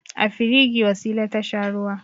A firigi Wasila ta sha ruwa.